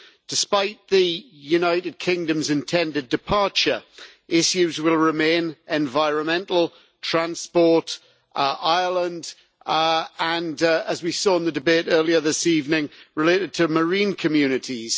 Despite the United Kingdom's intended departure, issues will remain environmental, transport, Ireland, and as we saw in the debate earlier this evening issues related to marine communities.